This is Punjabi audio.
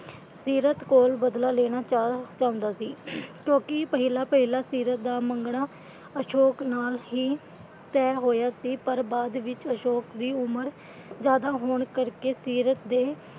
ਸੀਰਤ ਕੋਲ ਬਦਲਾ ਲੈਣਾ ਚਾਹੁੰਦਾ ਸੀ ਅਮ ਕਿਉਂਕਿ ਪਹਿਲਾਂ ਪਹਿਲਾਂ ਸੀਰਤ ਦਾ ਮੰਗਣਾ ਅਸ਼ੋਕ ਨਾਲ ਹੀ ਤਹਿ ਹੋਇਆ ਸੀ ਪਰ ਬਾਅਦ ਵਿਚ ਅਸ਼ੋਕ ਦੀ ਉਮਰ ਜਿਆਦਾ ਹੋਣ ਕਰਕੇ ਸੀਰਤ ਦੇ,